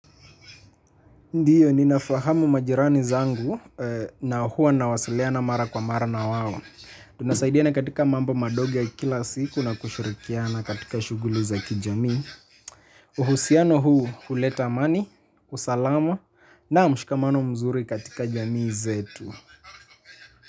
Ndiyo, ninafahamu majirani zangu na huwa nawasiliana mara kwa mara na wao. Tunasaidiana katika mambo madogo ya kila siku na kushurikiana katika shughuli za kijamii. Uhusiano huu, huleta amani, usalama na mshikamano mzuri katika jamii zetu.